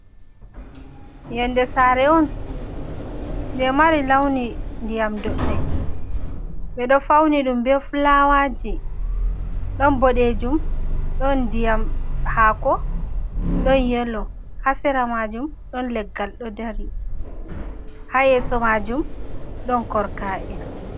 Yonde sare on nje mari launi ndiyam doɗɗe ɓeɗo fauni ɗum be fulawaji ɗon boɗejum ɗon ndiyam hako ɗon yelo, ha sera majum ɗon leggal ɗo dari ha yesso majum ɗon korka’e.